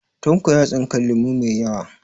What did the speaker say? Tanko ya tsinka lemo mai yawa